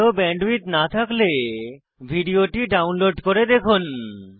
ভাল ব্যান্ডউইডথ না থাকলে ভিডিওটি ডাউনলোড করে দেখুন